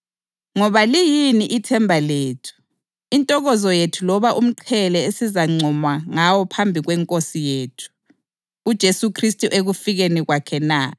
Ngoba liyini ithemba lethu, intokozo yethu loba umqhele esizazincoma ngawo phambi kweNkosi yethu uJesu Khristu ekufikeni kwakhe na? Akusini na?